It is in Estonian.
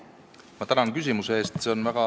Ma tänan küsimuse eest!